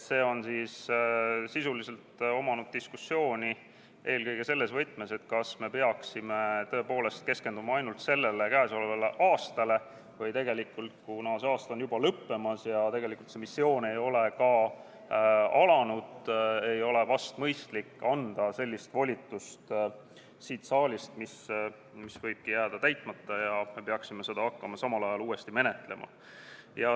See on tekitanud diskussiooni eelkõige selles võtmes, kas me peaksime tõepoolest keskenduma ainult sellele, käesolevale aastale või tegelikult, kuna see aasta on juba lõppemas ja tegelikult see missioon ei ole ka alanud, ei ole vist mõistlik anda sellist volitust siit saalist, mis võibki jääda täitmata ja me peaksime seda hakkama samal ajal uuesti menetlema.